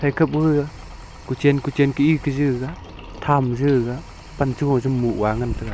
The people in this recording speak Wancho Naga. hekap ku gaga kuchan kuchan ki ik za gaga tham zi gaga pan cha gu cha moh ga ngan taga.